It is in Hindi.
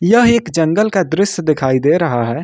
यह एक जंगल का दृश्य दिखाई दे रहा है।